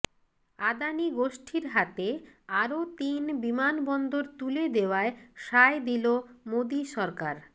আদানি গোষ্ঠীর হাতে আরও তিন বিমানবন্দর তুলে দেওয়ায় সায় দিল মোদি সরকার